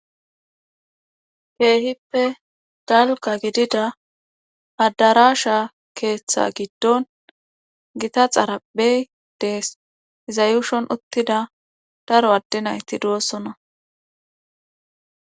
Keehippe darokka giddida adarasha keeththa gidon gita xarphe de'ees. Iza yushon uttida daro adde naytti doosona.